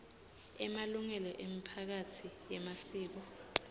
emalungelo emiphakatsi yemasiko